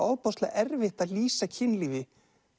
ofboðslega erfitt að lýsa kynlífi